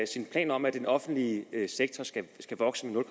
sin plan om at den offentlige sektor skal vokse med